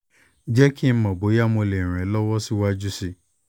jẹ́ kí n mọ̀ bóyá mo lè ràn ẹ́ lọ́wọ́ síwájú sí i